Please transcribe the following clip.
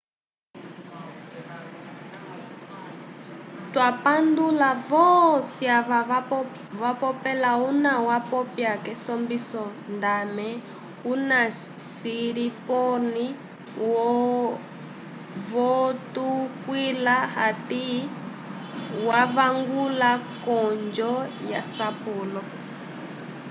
twapandula voci ava vapopela una wapya kesombiso ndame una siriporn votukwila ati wavangula conjo yasapulo